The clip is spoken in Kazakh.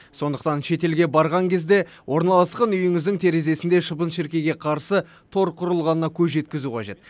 сондықтан шетелге барған кезде орналасқан үйіңіздің терезесінде шыбын шіркейге қарсы тор құрылғанына көз жеткізу қажет